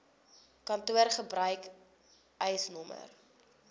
kantoor gebruik eisnr